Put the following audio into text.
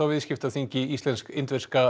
viðskiptaþingi Íslensk indverska